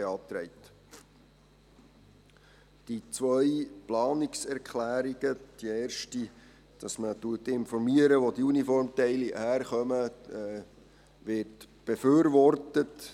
Zu den zwei Planungserklärungen: Die erste, dass man informiert, wo die Uniformteile herkommen, wird befürwortet.